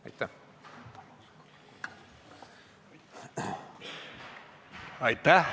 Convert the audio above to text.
Aitäh!